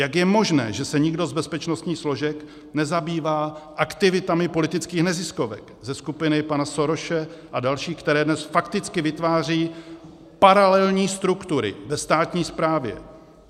Jak je možné, že se nikdo z bezpečnostních složek nezabývá aktivitami politických neziskovek ze skupiny pana Sorose a dalších, které dnes fakticky vytvářejí paralelní struktury ve státní správě?